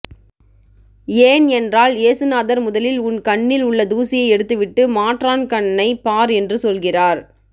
ஏன் என்றால் ஏசுநாதர் முதலில் உன் கண்ணில் உள்ள தூசியை எடுத்துவிட்டு மாற்றான் கண்ணை பார் என்று சொல்கிறார்